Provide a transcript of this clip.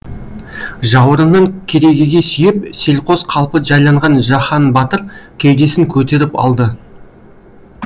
жауырынын керегеге сүйеп селқос қалпы жайланған жаһан батыр кеудесін көтеріп алды